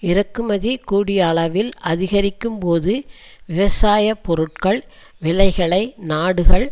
இறக்குமதி கூடியளவில் அதிகரிக்கும்போது விவசாய பொருட்கள் விலைகளை நாடுகள்